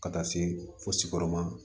Ka taa se fo siyɔrɔma